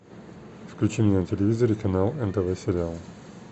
включи мне на телевизоре канал нтв сериал